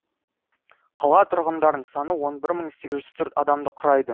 қала тұрғындарының саны он бір мың сегіз жүз төрт адамды құрайды